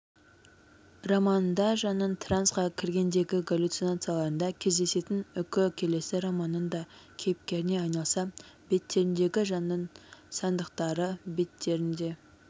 романында жанның трансқа кіргендегі галлюцинацияларында кездесетін үкі келесі романның да кейіпкеріне айналса беттеріндегі жанның сандырақтары беттерінде